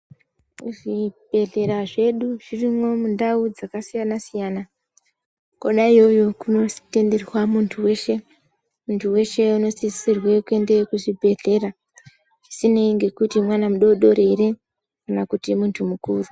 Zvibhedhlera zvedu zvirimwo mundau dzakasiyana siyana kwona iyoyo kunositenderwa munhu weshe. Munhu weshe unosisirwe kuende kuchibhedhlera zvisinei ngekuti munhu mudoko ere kana munhu mukuru.